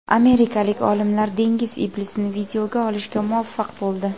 Amerikalik olimlar dengiz iblisini videoga olishga muvaffaq bo‘ldi .